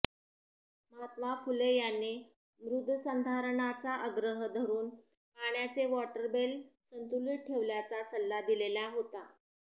महात्मा फुले यांनी मृद्संधारणाचा आग्रह धरून पाण्याचे वॉटरटेबल संतुलित ठेवण्याचा सल्ला दिलेला होता